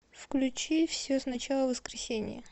включи все сначала воскресение